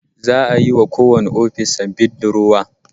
Za'a yi wa kowanne ofis sabbin durowa